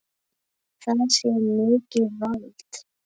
Það sé mikið vald.